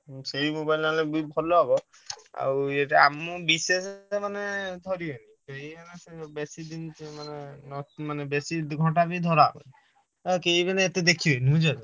ହଁ ସେଇ Oppo ଆଣିଲେ ବି ଭଲ ହେବ ଆଉ ଏଇଟା ଆମ ବିଶ୍ୱାସ ମାନେ ଧରିବେ ବେଶୀ ଦିନ ମାନେ ବେଶୀ ଘଣ୍ଟା ବି ଧର କେହି ମାନେ ଏତେ ଦେଖିବେନି।